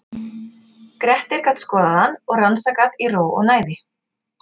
Grettir gat skoðað hann og rannsakað í ró og næði.